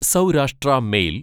Saurashtra mail